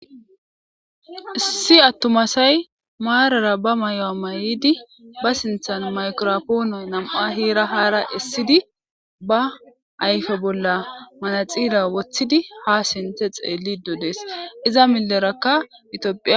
Issi atuma assay marar ba mayuwa mayid microphone be sinthan ha hera hara esid ba ayfe bolla manaxira wothid ha sinthe xelido Des, iza mileraka ethiopia..